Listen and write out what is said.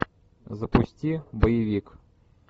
запусти боевик